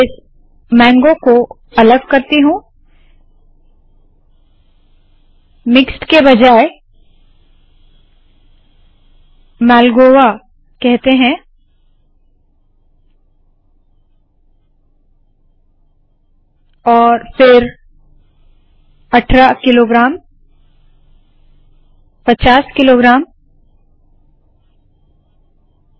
इस मैंगगो को अलग करती हूँ मिक्स्ड के बजाय इसे मालगोआ कहते है और फिर 18 किलोग्राम्स 50 किलोग्राम्स